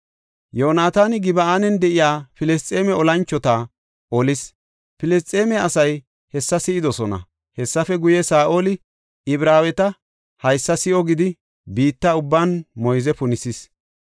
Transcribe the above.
Yoonataani Gib7an de7iya Filisxeeme olanchota olis; Filisxeeme asay hessa si7idosona. Hessafe guye, Saa7oli, “Ibraaweti haysa si7o” gidi biitta ubban moyze punisis.